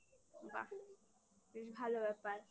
বাহ বেশ ভালো ব্যাপার